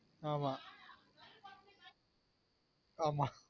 ஆமா ஆமா